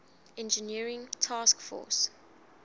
engineering task force